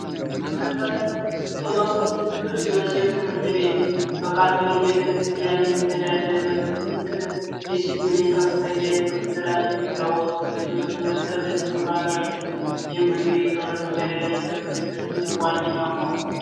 መንበረ ቅዱስ ዮሴፍ ትምህርት ቤት በካቶሊክ ቤተክርስቲያን የምተዳደር ዲሲፕሊን ከፍተኛ የትምህርት የሚታወቅ ብዙ ምሩቃን ያሉ የመንግዴ ከሁለተኛ ደረጃ ትምህርት ቤቶች ውስጥ ዋነኛው ነው